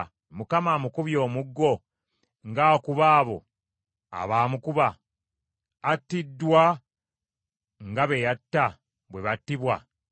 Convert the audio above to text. Mukama amukubye omuggo ng’akuba abo abaamukuba? Attiddwa nga be yatta, bwe battibwa?